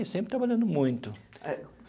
E sempre trabalhando muito é.